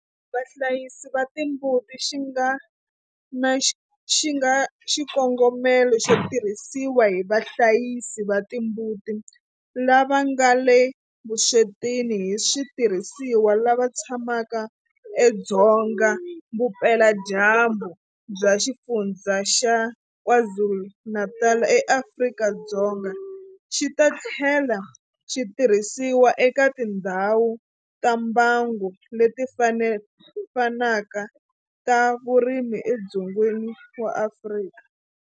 Vahlayisi va timbuti xi nga na xikongomelo xo tirhisiwa hi vahlayisi va timbuti lava nga le vuswetini hi switirhisiwa lava tshamaka edzonga vupeladyambu bya Xifundzha xa KwaZulu-Natal eAfrika-Dzonga, xi ta tlhela xi tirhisiwa eka tindhawu ta mbango leti fanaka ta vurimi edzongeni wa Afrika.